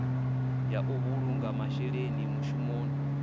ya u vhulunga masheleni mushumoni